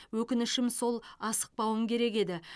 өкінішім сол асықпауым керек еді